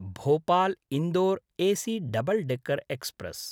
Bhopal-Indore AC double decker express